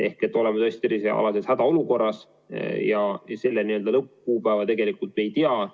Me oleme tõesti tervisealases hädaolukorras ja selle lõppkuupäeva me ei tea.